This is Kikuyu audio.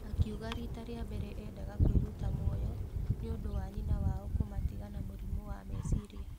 Akiuga rita rĩa mbere endaga kwĩruta mũoyo nĩũndũ wa nyina wao kumatiga na mũrimũ wa meciria.